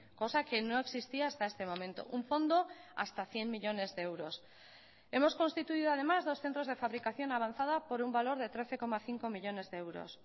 cosa que no existía hasta este momento un fondo hasta cien millónes de euros hemos constituido además dos centros de fabricación avanzada por un valor de trece coma cinco millónes de euros